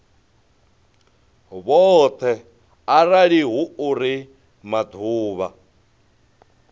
vhoṱhe arali hu uri maḓuvha